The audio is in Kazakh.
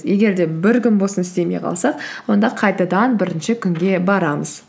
егер де бір күн болсын істемей қалсақ онда қайтадан бірінші күнге барамыз